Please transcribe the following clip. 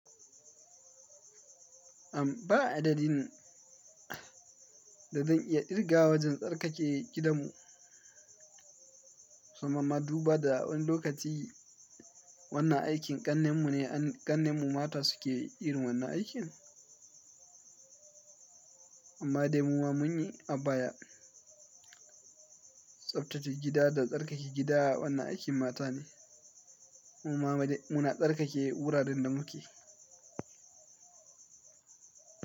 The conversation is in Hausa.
Am, ba adadin da zan iya irga wajen tsarkake gidamu. Sannan maduba da wani lokaci wanna aikin kannenmu ne, kannenmu mata suke yin wannan aikin. Amma dai muma mun yi a baya. Tsabtace gida da tsarkake gida wannan aikin mata ne. Muma ma dai muna tsarkake wuraren da muke.